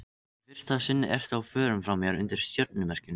Í fyrsta sinn ertu á förum frá mér undir stjörnumerkjum.